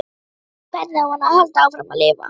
Og hvernig á hann að halda áfram að lifa?